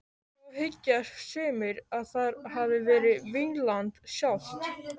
Þó hyggja sumir að þar hafi verið Vínland sjálft.